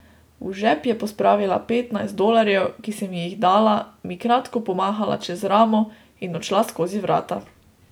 V žep je pospravila petnajst dolarjev, ki sem ji jih dala, mi kratko pomahala čez ramo in odšla skozi vrata.